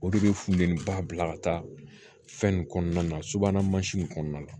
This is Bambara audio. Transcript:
O de bɛ funteni ba bila ka taa fɛn nin kɔnɔna na subahana mansin in kɔnɔna na